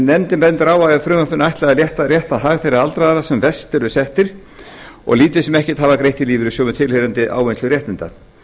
nefndin bendir á að frumvarpinu er ætlað að rétta hag þeirra aldraðra sem verst eru staddir og lítið sem ekkert hafa greitt í lífeyrissjóð með tilheyrandi ávinnslu réttinda